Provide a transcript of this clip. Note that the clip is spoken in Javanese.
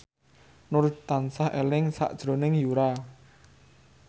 Nur tansah eling sakjroning Yura